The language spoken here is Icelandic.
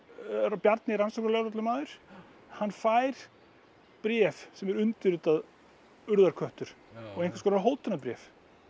Bjarni rannsóknarlögreglumaður hann fær bréf sem er undirritað urðarköttur og einhvers konar hótunarbréf